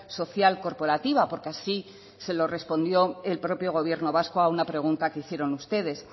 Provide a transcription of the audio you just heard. social corporativa porque así se lo respondió el propio gobierno vasco a una pregunta que hicieron ustedes